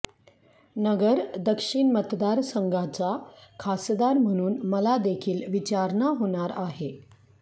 नगर दक्षिण मतदारसंघाचा खासदार म्हणून मला देखील विचारणा होणार आहे